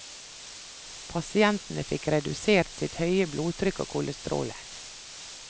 Pasientene fikk redusert sitt høye blodtrykk og kolesterolen.